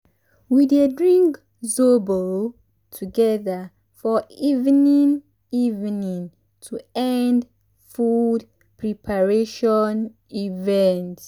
we dey drink zobo together for evening evening to end food preparation event.